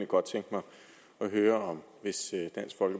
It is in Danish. godt tænke mig at høre om dansk hvis